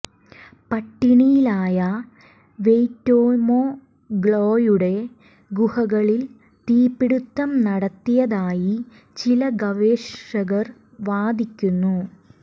പട്ടിണിയിലായ Waitomo ഗ്ലോയുടെ ഗുഹകളിൽ തീപിടുത്തം നടത്തിയതായി ചില ഗവേഷകർ വാദിക്കുന്നു